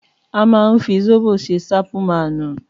Àmà hún fi Ṣọ́bò sẹ sàpúmànú